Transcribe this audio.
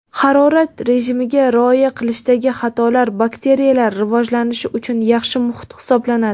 harorat rejimiga rioya qilishdagi xatolar bakteriyalar rivojlanishi uchun yaxshi muhit hisoblanadi.